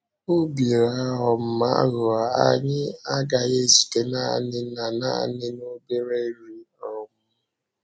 “Obi um aghụghọ” anyị agaghị ezute naanị na naanị na obere nri. um